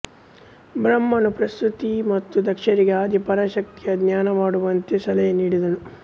ಬ್ರಹ್ಮನು ಪ್ರಸೂತಿ ಮತ್ತು ದಕ್ಷರಿಗೆ ಆದಿ ಪರಾಶಕ್ತಿಯ ಧ್ಯಾನಮಾಡುವಂತೆ ಸಲಹೆನೀಡಿದನು